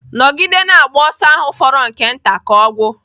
Nọgide na-agba ọsọ ahụ fọrọ nke nta ka ọ gwụ!